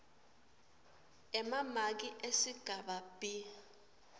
emamaki esigaba b